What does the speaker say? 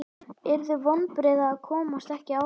Yrðu vonbrigði að komast ekki áfram?